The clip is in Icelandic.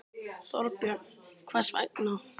Þorbjörn: Hvers vegna?